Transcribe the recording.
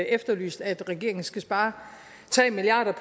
efterlyst at regeringen skal spare tre milliard